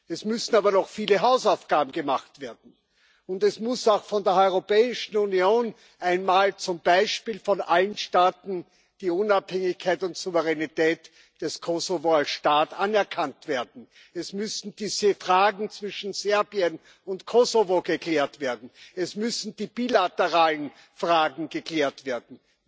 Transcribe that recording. Es müssen aber noch viele Hausaufgaben gemacht werden, und es muss auch von der Europäischen Union einmal zum Beispiel von allen Staaten die Unabhängigkeit und Souveränität des Kosovo als Staat anerkannt werden. Es müssen diese Fragen zwischen Serbien und Kosovo geklärt werden, es müssen die bilateralen Fragen geklärt werden.